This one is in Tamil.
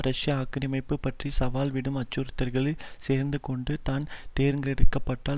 ரஷ்ய ஆக்கிரமிப்பு பற்றி சவால் விடும் அச்சுறுத்தல்களில் சேர்ந்து கொண்டு தான் தேர்ந்தெடுக்க பட்டால்